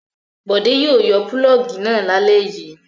Bọ̀dé yóò yọ pulọ́ọ́gì náà lálẹ́ yìí.